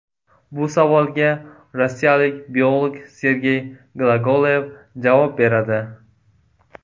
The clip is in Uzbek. Bu savolga rossiyalik biolog Sergey Glagolev javob beradi .